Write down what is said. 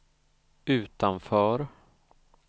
utanför